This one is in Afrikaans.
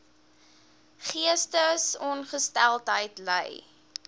geestesongesteldheid ly